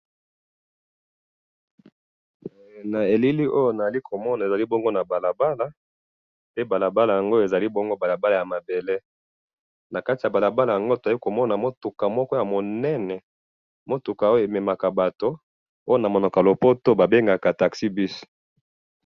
NA elili oyo naeli komona ezalina balabala e balabala yango ezali bongo balabala ya mabele nakati yabalabla yango toekomona mutuka moko ya munene mutuka Oyo emema Bato Oyo namonoko yalopoto babengaka taxi bus